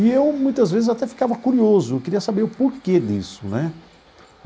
E eu, muitas vezes, eu até ficava curioso, queria saber o porquê disso, né?